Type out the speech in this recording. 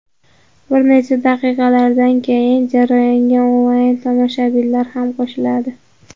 Bir necha daqiqalardan keyin jarayonga onlayn tomoshabinlar ham qo‘shiladi.